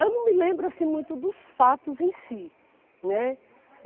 Eu não me lembro assim muito dos fatos em si, né?